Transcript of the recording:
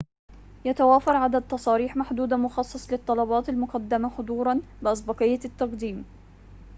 يتوافر عدد تصاريح محدود مخصص للطلبات المقدمة حضوراً بأسبقية التقديم